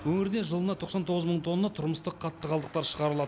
өңірде жылына тоқсан тоғыз мың тонна тұрмыстық қатты қалдықтар шығарылад